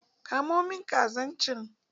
Ka mo min kazan can!